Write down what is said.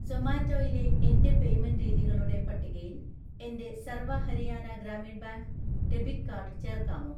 സൊമാറ്റോയിലെ എൻ്റെ പേയ്‌മെന്റ് രീതികളുടെ പട്ടികയിൽ എൻ്റെ Sarva Haryana Gramin bank debit card ചേർക്കാമോ?